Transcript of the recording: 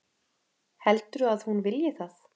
Heldurðu að hún vilji það?